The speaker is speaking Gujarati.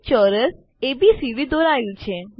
એક ચોરસ એબીસીડી દોરાઈ ગયું છે